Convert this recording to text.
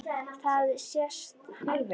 Það sést alveg.